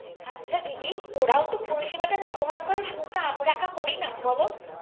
আচ্ছা দিদি। ওরাও তো পরিসেবাটা ব্যবহার করে। শুধুতো আমরা একা করিনা বল?